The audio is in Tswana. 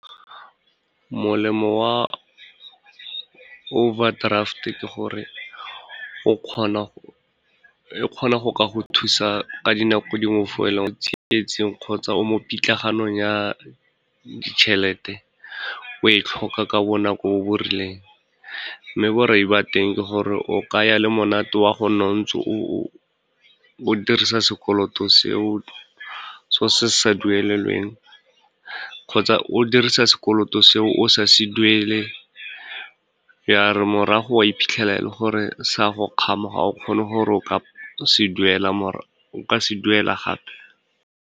Molemo wa overdraft ke gore, e kgona go ka go thusa ka dinako dingwe fa o le mo tsietsing kgotsa o mo pitlagano ya ditšhelete, o e tlhoka ka bonako bo bo rileng. Mme borai ba teng ke gore o kaya le monate wa gonna o ntse o dirisa sekoloto seo, se o sa se duelelweng kgotsa o dirisa sekoloto seo o sa se duele, ya re morago wa iphitlhela e le gore se a go kgama ga o kgone gore o ka se duela gape.